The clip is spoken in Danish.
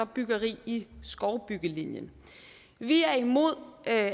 byggeri i skovbyggelinjen vi er imod at